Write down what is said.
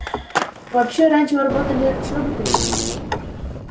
вообще раньше вы работали с роботами